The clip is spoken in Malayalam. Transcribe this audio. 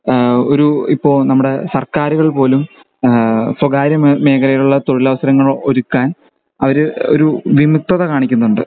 ഏഹ് ഒരു ഇപ്പൊ നമ്മുടെ സർക്കാരുകൾ പോലും ഏഹ് സ്വകാര്യ മേഖലയിൽ ഉള്ള തൊഴിലവസരങ്ങൾ ഒരുക്കാൻ അവര് ഒരു വിമുക്തത കാണിക്കുന്നുണ്ട്